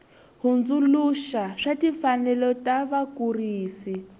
hundzuluxa wa timfanelo ta vakurisi